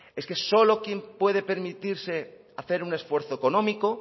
es que solo quien puede permitirse hacer un esfuerzo económico